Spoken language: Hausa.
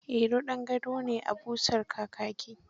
Iro ɗan gado ne a busar kakaki.